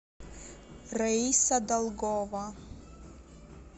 раиса долгова